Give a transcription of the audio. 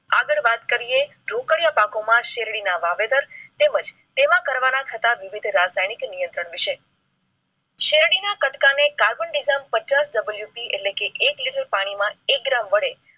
આગળ વાત કરીયે ઢોકળીયા પાકો માં શેરડી ના વાવેતર માં તેમજ તેમાં કરવા માં આવતા વિવિધ રસાયણો વિષે શેરડી ના કટકા ને કાર્બન ડિઝમ પચાસ ડબલુસી એક લીટર પાણી માં એક ગ્રામ વડે